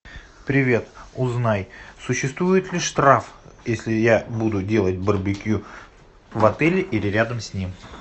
привет узнай существует ли штраф если я буду делать барбекю в отеле или рядом с ним